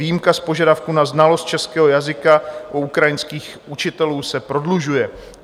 Výjimka z požadavku na znalost českého jazyka u ukrajinských učitelů se prodlužuje.